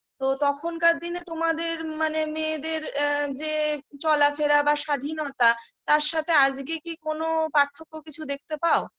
তো তখনকার দিনে তোমাদের মানে মেয়েদের আ যে চলাফেরা বা স্বাধীনতা তার সাথে আজকে কি কোন পার্থক্য কিছু দেখতে পাও